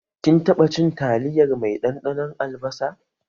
Kin taɓa cin taliyar mai ɗanɗanon albasa?